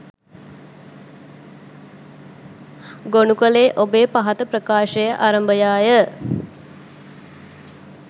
ගොනු කළේ ඔබේ පහත ප්‍රකාශ අරභයාය